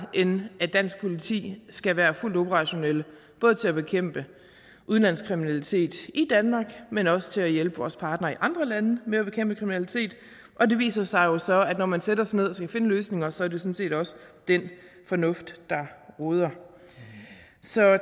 end at dansk politi skal være fuldt operationelle både til at bekæmpe udenlandsk kriminalitet i danmark men også til at hjælpe vores partnere i andre lande med at bekæmpe kriminalitet og det viser sig jo så at når man sætter sig ned og skal finde løsninger sådan set også den fornuft der råder så